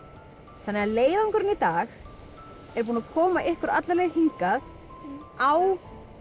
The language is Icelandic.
þannig að leiðangurinn í dag er búinn að koma ykkur alla leið hingað á